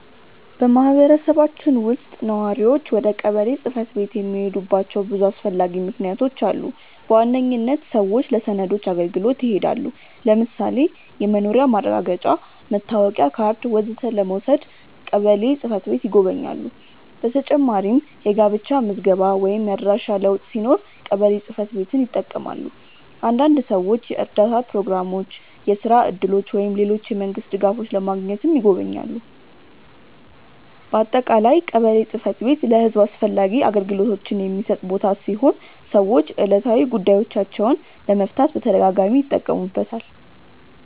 በማህበረሰባችን ውስጥ ነዋሪዎች ወደ ቀበሌ ጽ/ቤት የሚሄዱባቸው ብዙ አስፈላጊ ምክንያቶች አሉ። በዋነኝነት ሰዎች ለሰነዶች አገልግሎት ይሄዳሉ። ለምሳሌ የመኖሪያ ማረጋገጫ፣ መታወቂያ ካርድ ወዘተ ለመውሰድ ቀበሌ ጽ/ቤት ይጎበኛሉ። በተጨማሪም የጋብቻ ምዝገባ ወይም የአድራሻ ለውጥ ሲኖር ቀበሌ ጽ/ቤትን ይጠቀማሉ። አንዳንድ ሰዎች የእርዳታ ፕሮግራሞች፣ የስራ እድሎች ወይም ሌሎች የመንግስት ድጋፎች ለማግኘትም ይጎበኛሉ። በአጠቃላይ ቀበሌ ጽ/ቤት ለህዝብ አስፈላጊ አገልግሎቶችን የሚሰጥ ቦታ ሲሆን ሰዎች ዕለታዊ ጉዳዮቻቸውን ለመፍታት በተደጋጋሚ ይጠቀሙበታል።